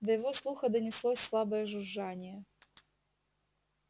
до его слуха донеслось слабое жужжание